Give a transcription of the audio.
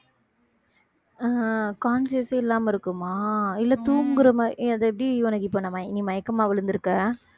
ஆஹ் conscious ஏ இல்லாம இருக்குமா இல்ல தூங்குற மாதிரி அது எப்படி உனக்கு இப்ப மயக்~ மயக்கமா விழுந்திருக்க